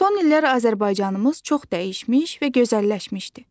Son illər Azərbaycanımız çox dəyişmiş və gözəlləşmişdi.